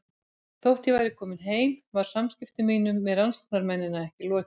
Þótt ég væri komin heim var samskiptum mínum við rannsóknarmennina ekki lokið.